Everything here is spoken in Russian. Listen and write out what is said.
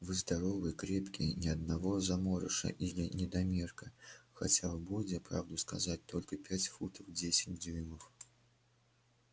вы здоровые крепкие ни одного заморыша или недомерка хотя в бойде правду сказать только пять футов десять дюймов